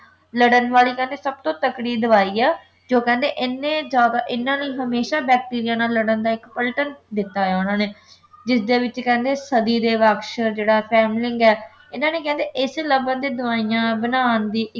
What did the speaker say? ਲੜਨ ਵਾਲੀ ਕਹਿੰਦੇ ਸਭ ਤੋਂ ਤਕੜੀ ਦਵਾਈ ਹੈ ਜੋ ਕਹਿੰਦੇ ਇੰਨੇ ਜਿਆਦਾ ਇਨ੍ਹਾਂ ਨੇ ਹਮੇਸ਼ਾਂ bacteria ਲੜਨ ਦਾ ਇੱਕ ਪਲਟਨ ਦਿੱਤਾ ਹੈ ਉਨ੍ਹਾਂ ਨੇ ਜਿਸਦੇ ਵਿੱਚ ਕਹਿੰਦੇ ਸਦੀ ਦੇ ਬਕਸ਼ ਜਿਹੜਾ ਫੇਮਲਿੰਗ ਹੈ ਇਨ੍ਹਾਂ ਨੇ ਕਹਿੰਦੇ ਇਹਦੇ ਚ ਲੱਭਣ ਦੀ ਦਵਾਈਆਂ ਬਣਾਉਣ ਦੀ